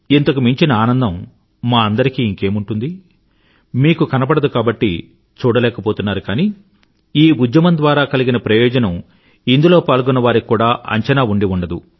ఇంతకు మించిన ఆనందం మా అందరికీ ఇంకేముంటుంది మీకు కనబడదు కాబట్టి చూడలేకపోతున్నారు కానీ ఈ ఉద్యమం ద్వారా కలిగిన ప్రయోజనం ఇందులో పాల్గొన్న వారికి కూడా అంచనా ఉండి ఉండదు